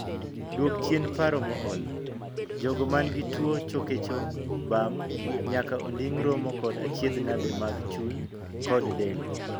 Duok chien paro mool. Jogo man gi tuo choke chong, bam, nyaka onding' romo kod achiedhnade mag chuny kod del.